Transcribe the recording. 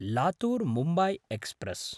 Latur-Mumbai express